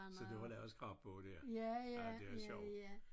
Så du har lavet scrapbog der? Ja det er sjov